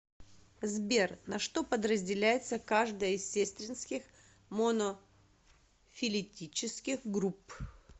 сбер на что подразделяется каждая из сестринских монофилетических групп